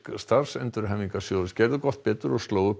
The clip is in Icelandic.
starfsendurhæfingarsjóðs gerðu gott betur og slógu upp